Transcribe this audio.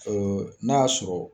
Ee n'a y'a sɔrɔ